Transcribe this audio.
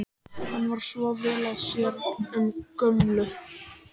Hann er svo vel að sér um gömlu